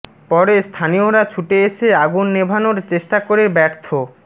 পরে স্থানীয়রা ছুটে এসে আগুন নেভানোর চেষ্টা করে ব্যর্থ